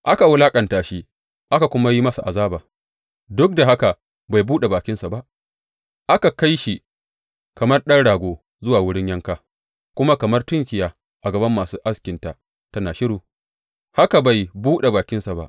Aka wulaƙanta shi aka kuma yi masa azaba, duk da haka bai buɗe bakinsa ba; aka kai shi kamar ɗan rago zuwa wurin yanka, kuma kamar tunkiya a gaban masu askinta tana shiru, haka bai buɗe bakinsa ba.